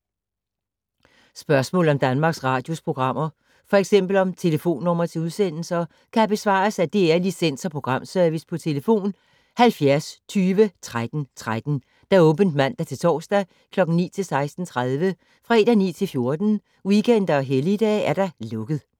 Spørgsmål om Danmarks Radios programmer, f.eks. om telefonnumre til udsendelser, kan besvares af DR Licens- og Programservice: tlf. 70 20 13 13, åbent mandag-torsdag 9.00-16.30, fredag 9.00-14.00, weekender og helligdage: lukket.